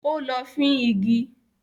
Ó lọ fín igi.